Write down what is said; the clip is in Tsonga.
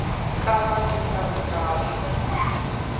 kala ti nga ri kahle